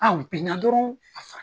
Anw binna dɔrɔn